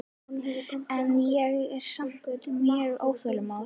En ég er samt mjög óþolinmóð.